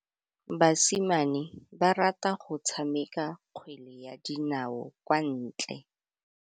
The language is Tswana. Basimane ba rata go tshameka kgwele ya dinaô kwa ntle.